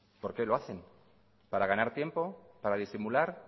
por qué lo hacen para ganar tiempo para disimular